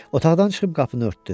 Otaqdan çıxıb qapını örtdü.